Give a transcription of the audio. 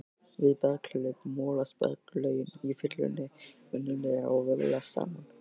Við berghlaup molast berglögin í fyllunni venjulega og vöðlast saman.